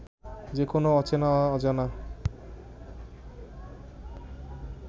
যে কোন অচেনা অজানা